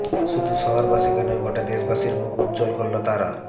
শুধু শহরবাসীকে নয় গোটা দেশবাসীর মুখ উজ্জ্বল করল তারা